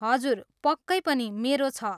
हजुर, पक्कै पनि, मेरो छ।